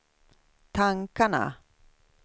tankarna